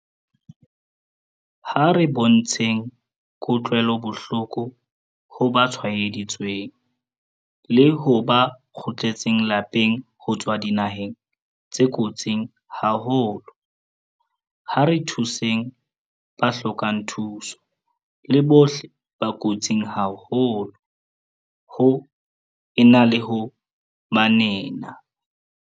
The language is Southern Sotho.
Ha re bontsheng kutlwelobohloko ho ba tshwaeditsweng, le ho ba kgutletseng lapeng ho tswa dinaheng tse kotsing haholo. Ha re thuseng ba hlokang thuso le bohle ba kotsing haholo, ho e na le ho ba nena.